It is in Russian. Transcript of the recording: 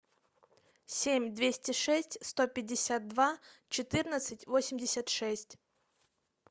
семь двести шесть сто пятьдесят два четырнадцать восемьдесят шесть